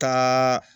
Taa